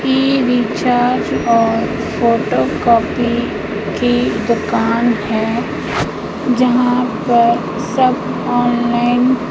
ये रिचार्ज और फोटोकॉपी की दुकान है जहां पर सब ऑनलाइन --